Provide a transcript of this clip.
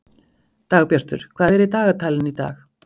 Dagbjartur, hvað er í dagatalinu í dag?